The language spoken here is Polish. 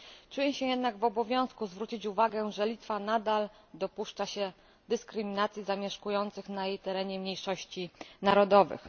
Czuję się jednak w obowiązku zwrócić uwagę, że Litwa nadal dopuszcza się dyskryminacji zamieszkujących na jej terenie mniejszości narodowych.